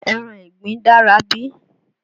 Ẹran ìgbín dára bí?